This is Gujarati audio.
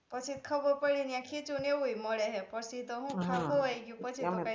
પછી ખબર પડી યા ખીચુ ને એવુ એ મળે હે પછી તો હુ ત્યા ખવાઈ ગ્યું પછી કાંઈ થાય નઈ